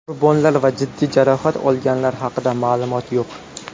Qurbonlar va jiddiy jarohat olganlar haqida ma’lumot yo‘q.